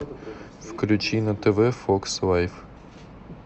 включи на тв фокс лайф